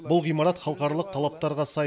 бұл ғимарат халықаралық талаптарға сай